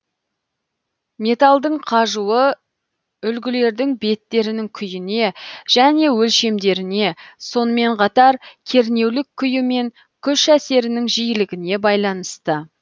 металдың қажуы үлгілердің беттерінің күйіне және өлшемдеріне сонымен қатар кернеулік күйі мен күш әсерінің жиілігіне байланысты